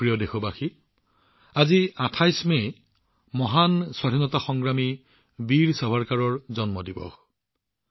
মোৰ মৰমৰ দেশবাসীসকল আজি ২৮ মেত মহান স্বাধীনতা সংগ্ৰামী বীৰ সাভাৰকাৰৰ জন্ম জয়ন্তী